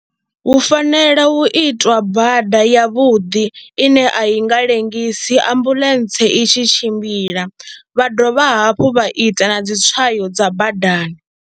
Hu fanela u itwa bada yavhuḓi ine a i nga ḽengisi ambuḽentse i tshi tshimbila vha dovha hafhu vha ita na dzi tswayo dza badani.